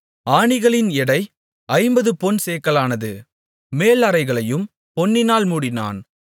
ஆணிகளின் எடை ஐம்பது பொன் சேக்கலானது மேல் அறைகளையும் பொன்னினால் மூடினான்